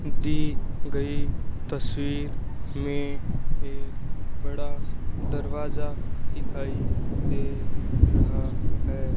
दी गई तस्वीर में एक बड़ा दरवाजा दिखाई दे रहा है।